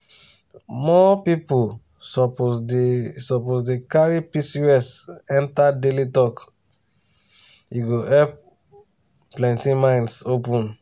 more people suppose dey suppose dey carry pcos enter daily talk e go help plenty minds open.